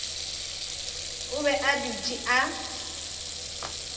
o be a dutše a